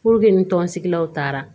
ni tɔn sigilaw taara